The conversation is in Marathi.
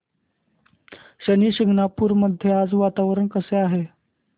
शनी शिंगणापूर मध्ये आज वातावरण कसे आहे